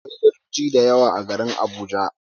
Akwai gadoji da yawa a garin Abuja.